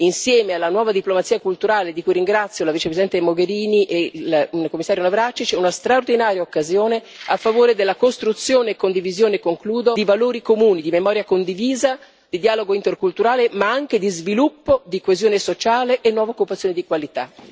insieme alla nuova diplomazia culturale di cui ringrazio la Vicepresidente Mogherini e il Commissario Navracsics una straordinaria occasione a favore della costruzione e condivisione di valori comuni, di memoria condivisa, di dialogo interculturale ma anche di sviluppo, di coesione sociale e nuova occupazione di qualità.